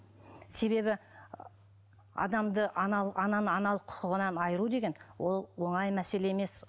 себебі адамды аналық құқығынан айыру деген ол оңай мәселе емес